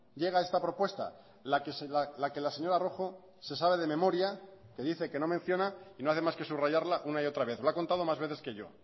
llega esta propuesta la que la señora rojo se sabe de memoria que dice que no menciona y no hace más que subrayarla una y otra vez lo ha contado más veces que yo